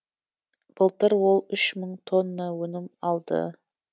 былтыр ол үш мың тонна өнім алды